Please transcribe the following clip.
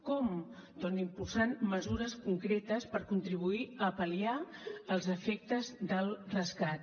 com doncs impulsant mesures concretes per contribuir a pal·liar els efectes del rescat